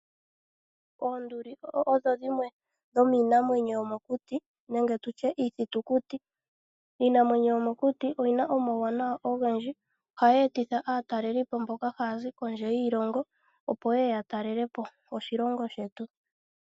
Oonduli odho dhimwe dhomiinamwenyo yomokuti nenge tutye iithitukuti . Iinamwenyo yomokuti oyina omawunawa ogendji . Ohayi etitha aatalelipo mboka hayazi kondje yiilongo opo yeye ya talelepo oshilongo shetu.